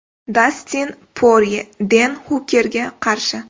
Dastin Porye Den Hukerga qarshi.